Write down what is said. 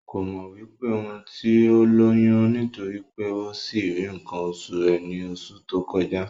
Kò mọ̀ wí pé òún ti lóyún nítorí pé ó sì rí ǹǹkan osù rẹ ní osù tó kọjá